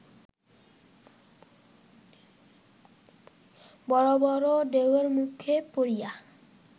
বড় বড় ঢেউয়ের মুখে পড়িয়া